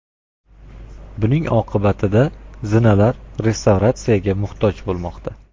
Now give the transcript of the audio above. Buning oqibatida zinalar restavratsiyaga muhtoj bo‘lmoqda.